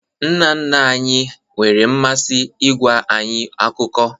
Nna nna anyị nwere mmasị ịgwa anyị akụkọ